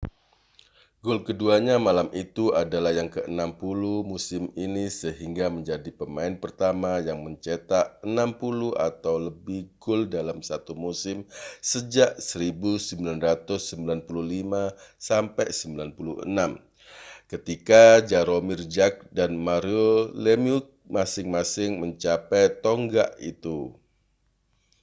gol keduanya malam itu adalah yang ke-60 musim ini sehingga menjadi pemain pertama yang mencetak 60 atau lebih gol dalam satu musim sejak 1995-96 ketika jaromir jagr dan mario lemieux masing-masing mencapai tonggak itu